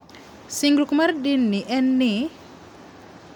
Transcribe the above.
Singruok mar din ni en ni.